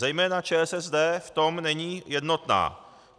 Zejména ČSSD v tom není jednotná.